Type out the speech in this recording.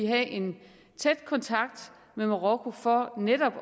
have en tæt kontakt med marokko for netop